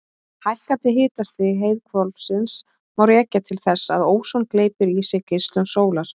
Hækkandi hitastig heiðhvolfsins má rekja til þess að óson gleypir í sig geislun sólar.